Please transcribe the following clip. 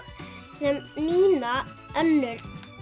sem við Nína önnur